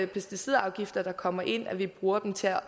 pesticidafgifter der kommer ind og vi bruger dem til at